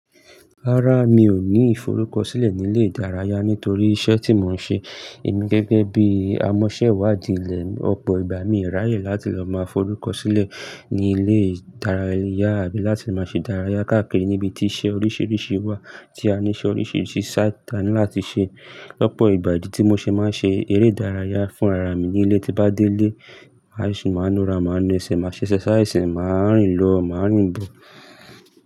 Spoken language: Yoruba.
Rárá, mi ò ní ìforúkọ̀sílẹ̀ ní ilé ìdárayá nítorí iṣẹ́ tí mò ń ṣe. Èmi gẹ́gẹ́ bí i amọ́ṣẹ́wàdí ilẹ̀, ọ̀pọ̀ ìgbà mi ò ráyè láti lọ máa forúkọ̀sílẹ̀ ní ilé ìdárayá àbí láti máa ṣe idárayá káàkiri níbi tí iṣẹ́ oríṣiríṣi wà tí a níṣe oríṣiríṣi sá tanì láti ṣe. Lọ́pọ̀ ìgbà ìdí tí mo ṣe máa ń ṣe eré ìdárayá fúnra'ra mi ní ilé tí bá délé, à yóò sì máa nu ara, máa nu ẹsẹ̀, màá ṣẹ́ exercise, màá rìn lọ, màá rìn bọ̀.